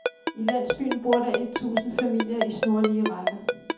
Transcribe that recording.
I landsbyen bor der et tusind familier i snorlige rækker.